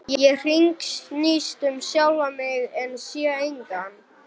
Ég hringsnýst um sjálfa mig en sé engan.